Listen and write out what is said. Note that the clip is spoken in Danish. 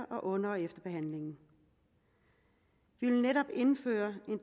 under og efter behandlingen vi vil netop indføre